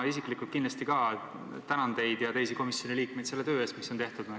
Ma isiklikult ka tänan teid ja teisi komisjoni liikmeid selle töö eest, mis on tehtud.